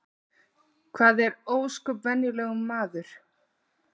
Hann er ósköp venjulegur maður